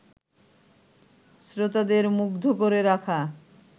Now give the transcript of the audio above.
শ্রোতাদের মুগ্ধ করে রাখা